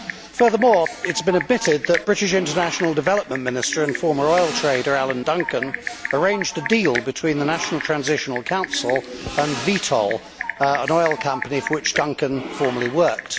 Furthermore, it has been admitted that British International Development Minister and former oil trader, Alan Duncan, arranged a deal between the National Transitional Council and Vitol, an oil company for which Duncan formerly worked.